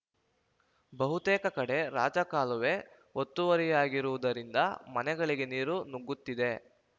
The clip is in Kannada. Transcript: ಬಹುತೇಕ ಕಡೆ ರಾಜಕಾಲುವೆ ಒತ್ತುವರಿಯಾಗಿರುವುದರಿಂದ ಮನೆಗಳಿಗೆ ನೀರು ನುಗ್ಗುತ್ತಿದೆ